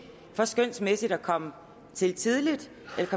for skønsmæssigt at komme til tidligt